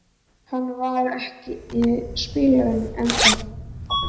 Hann var ekki spilltari en það.